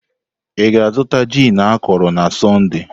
Ị ga-azụta gin akọrọ na Sọnde?